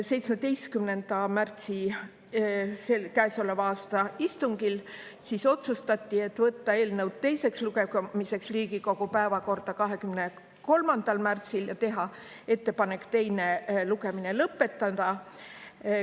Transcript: Käesoleva aasta 17. märtsi istungil otsustati võtta eelnõu teiseks lugemiseks Riigikogu päevakorda 23. märtsil ja teha ettepanek teine lugemine lõpetada.